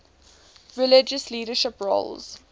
religious leadership roles